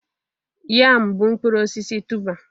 Yam bụ mkpụrụ osisi tuber